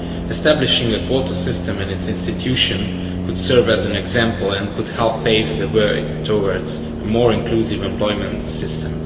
Establishing a quota system in the EU institutions could serve as an example and could help pave the way towards a more inclusive employment system.